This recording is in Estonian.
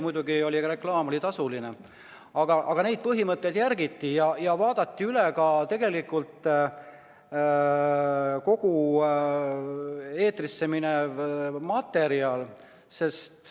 Muidugi oli siis reklaam tasuline, aga neid põhimõtteid järgiti ja vaadati üle ka kogu eetrisse minev materjal.